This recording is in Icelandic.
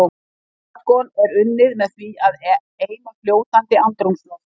Argon er unnið með því að eima fljótandi andrúmsloft.